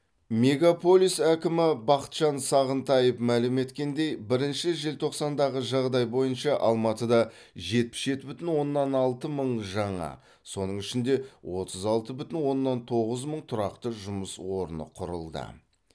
мегаполис әкімі бақытжан сағынтаев мәлім еткендей бірінші желтоқсандағы жағдай бойынша алматыда жетпіс жеті бүтін оннан алты мың жаңа соның ішінде отыз алты бүтін оннан тоғыз мың тұрақты жұмыс орны құрылды